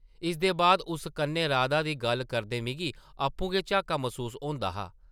इसदे बाद उस कन्नै राधा दी गल्ल करदे मिगी आपूं गै झाका मसूस होंदा हा ।